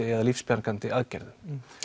eða lífsbjargandi aðgerðum